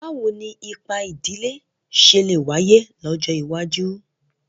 Báwo ni ipa ìdílé ṣe lè wáyé lọ́jọ́ iwájú?